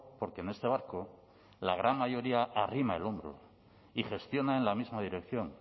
porque en este barco la gran mayoría arrima el hombro y gestiona en la misma dirección